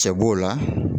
Cɛ b'o la